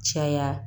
Caya